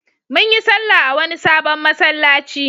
Mun yi sallah a wani sabon masallaci.